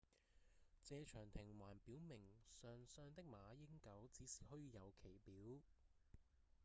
謝長廷還表明上相的馬英九只是虛有其表